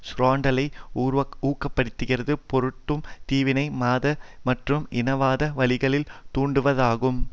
சுரண்டலை உக்கிர படுத்தும் பொருட்டு தீவினை மத மற்றும் இனவாத வழிகளில் துண்டாடுவதாகும்